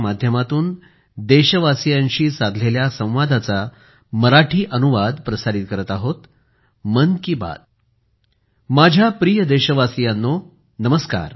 माझ्या प्रिय देशवासियांनो नमस्कार